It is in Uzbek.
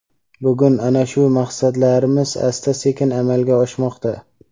Bugun ana shu maqsadlarimiz asta-sekin amalga oshmoqda.